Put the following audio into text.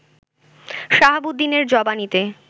শাহাবুদ্দিনের জবানিতে